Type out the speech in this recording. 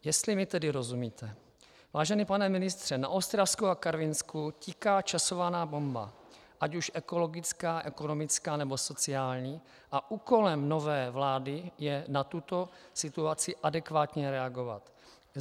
Jestli mi tedy rozumíte, vážený pane ministře, na Ostravsku a Karvinsku tiká časovaná bomba, ať už ekologická, ekonomická nebo sociální, a úkolem nové vlády je na tuto situaci adekvátně reagovat.